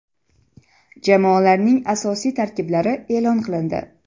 Jamoalarning asosiy tarkiblari e’lon qilindi.